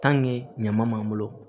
ɲama b'an bolo